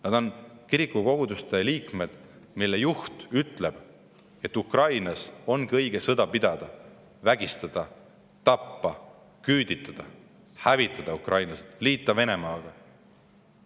Nad on koguduse liikmed, aga nende koguduse juht ütleb, et Ukrainas ongi õige sõda pidada, vägistada, tappa, küüditada, hävitada ukrainlased, liita Venemaaga.